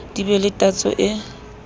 di be le tatso e